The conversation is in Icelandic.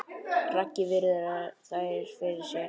Raggi virðir þær fyrir sér.